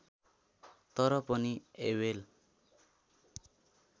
तर पनि एबेल